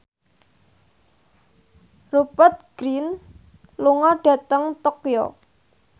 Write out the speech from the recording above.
Rupert Grin lunga dhateng Tokyo